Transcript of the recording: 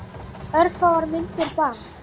Örfáar myndir bara.